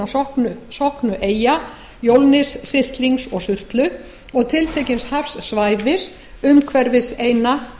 hinna sokknu eyja jólnis syrtlings og surtlu og tiltekins hafsvæðis umhverfis eyna